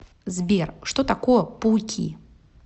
сбер что такое пауки